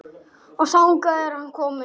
Og þangað er hann kominn.